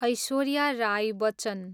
Aishwarya Rai Bachchan